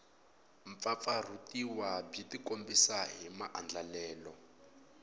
mpfampfarhutiwa byi tikombisa hi maandlalelo